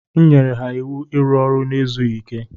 Enyere m ha iwu iru ọrụ n'ezughi ike.